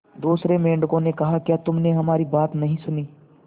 दूसरे मेंढकों ने कहा क्या तुमने हमारी बात नहीं सुनी